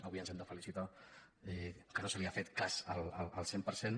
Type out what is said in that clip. avui ens hem de felicitar que no se li ha fet cas al cent per cent